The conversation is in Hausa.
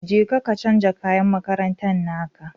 Jeka ka canja kayan makarantan naka